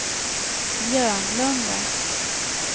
Björnlunda